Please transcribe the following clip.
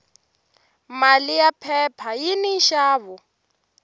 mali ya phepha yini nxavo